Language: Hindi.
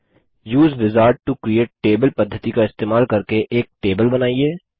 उसे विजार्ड टो क्रिएट टेबल पद्धिति का इस्तेमाल करके एक टेबल बनाइए